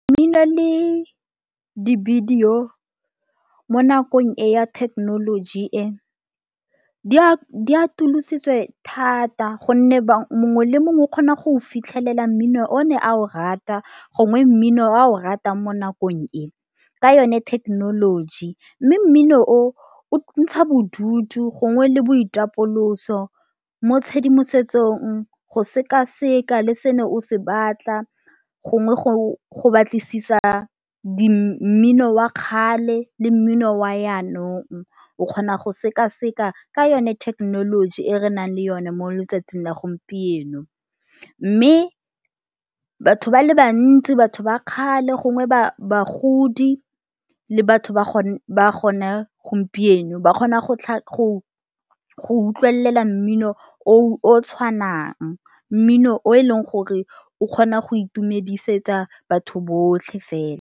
Mmino le di-video mo nakong e ya thekenoloji e di a atolositswe thata gonne mongwe le mongwe o kgona go fitlhelela mmino o ne a o rata gongwe mmino o ratang mo nakong e ka yone thekenoloji. Mme mmino o ntsha bodutu gongwe le boitapoloso mo tshedimosetsong go sekaseka le se o ne o se batla gongwe go o go batlisisa di mmino wa kgale le mmino wa yanong o kgona go sekaseka ka yone thekenoloji e re nang le yone mo letsatsing la gompieno. Mme batho ba le bantsi, batho ba kgale gongwe ba bagodi le batho ba gone gompieno ba kgona go utlwelela mmino o tshwanang, mmino o e leng gore o kgona go itumedisetsa batho botlhe fela.